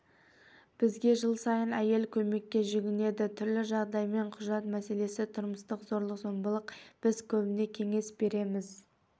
бізге жыл сайын әйел көмекке жүгінеді түрлі жағдаймен құжат мәселесі тұрмыстық зорлық-зомбылық біз көбіне қеңес береміз